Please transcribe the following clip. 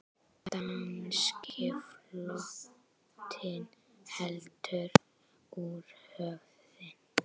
Danski flotinn heldur úr höfn!